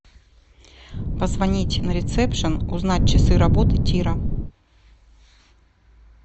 позвонить на ресепшен узнать часы работы тира